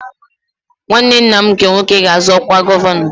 Nwanne nna m nke nwoke ga-azọ ọkwa gọvanọ